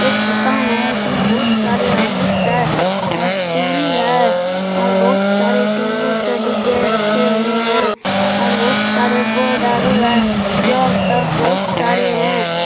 एक दुकान है इसमें बहुत सारे हॉर्लिक्स है और चूड़ी है और बहुत सारे सिंदूर के डिब्बे रखे हुए हैं और बहुत सारे बोर्ड आरु है जो अब तक बहुत सारे हैं।